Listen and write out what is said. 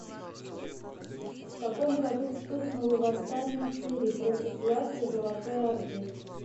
в каком году вспыхнуло восстание в твери против власти золотой орды